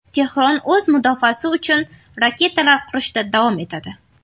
Tehron o‘z mudofaasi uchun raketalar qurishda davom etadi.